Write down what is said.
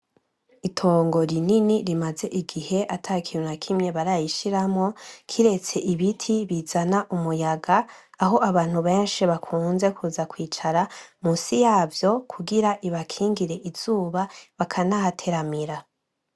Itongo rinini rimaze igihe atakintu nakimwe bararishiramwo kiretse ibiti bizana umuyaga aho abantu bakunze kuza kwicara musi yavyo kugira ribakingire izuba bakanahateramira.